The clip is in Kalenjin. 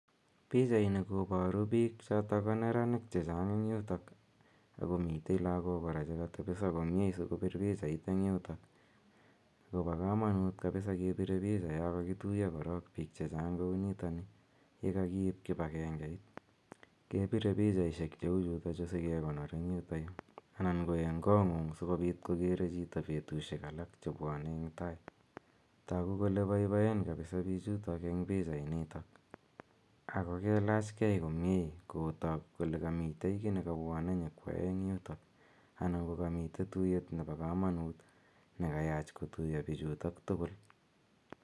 Pichaini koboru biik choto ko neranik che chang eng yutok ak komitei lagok kora chegatebeso komie sikopir pichait eng yutok. So ba kamanut kepire picha yon kogituya korok biik che chang kounitok ni. Ye kakiip kipire pichaisiek cheu chutok chu sigegonor eng yuto yu anan koen kongung sigopit kogere chito betusiek alak chebwane eng tai. Tagu kole boiboen kabisa biichutok eng pichainitok ago kelach kei komie kotak kole kami kiy negabwane nyokwae eng yutok anan ko kamiten tuiyet ne bokamanut negayach kotuiyo biichutok tugul.